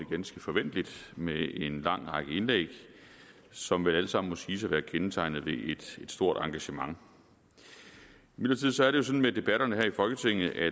ganske forventeligt med en lang række indlæg som vel alle sammen må siges at være kendetegnet ved et stort engagement imidlertid er det jo sådan med debatterne her i folketinget at